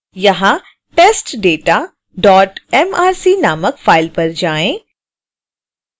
यहाँ testdatamrc नामक file पर जाएँ